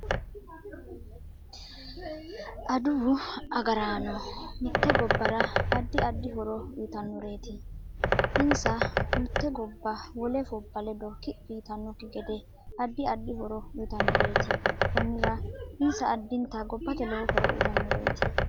Aduwu agaraano mitte gobbara addi add horo uyiitanoreeti insa mutte gobba wole fobba ledo kiphi yitanokki gede addi addi horo uyiitanoreeti konnira insa addintanni gobbate lowo horo uyiitanoreeti